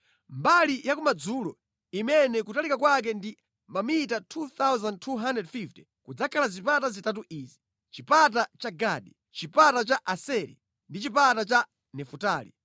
“Mbali ya kumadzulo, imene kutalika kwake ndi mamita 2,250 kudzakhala zipata zitatu izi: chipata cha Gadi, chipata cha Aseri ndi chipata cha Nafutali.